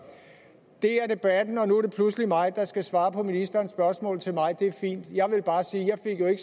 det er debatten og nu er det pludselig mig der skal svare på ministerens spørgsmål til mig det er fint jeg vil bare sige at jeg